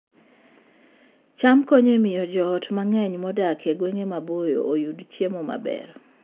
cham konyo e miyo joot mang'eny modak e gwenge maboyo oyud chiemo maber